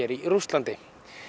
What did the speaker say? í Rússlandi